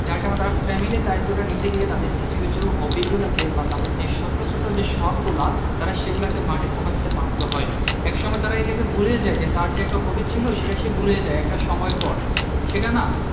যার কারণে তার family র দায়িত্বটা নিতে গিয়ে তাদেরকে কিছু কিছু hobby গুলোকে তাদের যে ছোট্ট ছোট্ট যে শখ গুলা তারা সেগুলাকে মাটি চাপা দিতে বাধ্য হয় একসময় তারা এটাকে ভুলে যাই যে তার যে একটা hobby ছিল সেটাই সে ভুলে যায় একটা সময় পর সেটা না